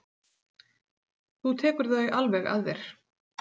Þú tekur þau alveg að þér.